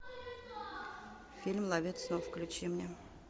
фильм ловец снов включи мне